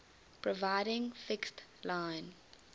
providing fixed line